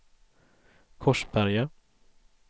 Korsberga